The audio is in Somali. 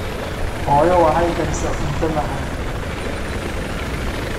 Hooyo waxay karisay cunto macaan